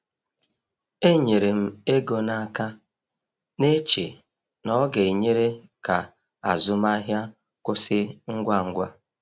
E nyere m ego n’aka, na-eche na ọ ga-enyere ka azụmahịa kwụsị ngwa ngwa.